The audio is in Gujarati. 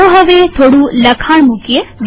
ચાલો હવે થોડું લખાણ મુકીએ